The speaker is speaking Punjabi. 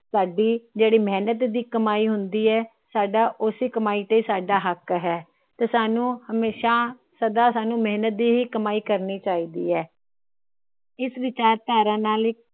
ਸਾਡੀ ਜਿਹੜੀ ਮੇਹਨਤ ਦੀ ਕਮਾਈ ਹੁੰਦੀ ਏ। ਸਾਡਾ ਉਸੇ ਕਮਾਈ ਤੇ ਸਾਡਾ ਹੱਕ ਹੈ। ਤੇ ਸਾਨੂ ਹਮੇਸ਼ਾ ਸਦਾ ਸਾਨੂੰ ਮੇਹਨਤ ਦੀ ਹੀ ਕਮਾਈ ਕਰਨੀ ਚਾਹੀਦੀ ਹੈ। ਇਸ ਵਿਚਾਰਧਾਰਾ ਨਾਲ